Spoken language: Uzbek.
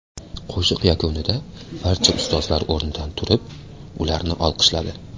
Qo‘shiq yakunida barcha ustozlar o‘rnidan turib, ularni olqishladi.